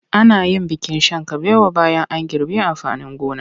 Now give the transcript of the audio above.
Ana yin bikin shan kabewa bayan an girbe amfanin gona.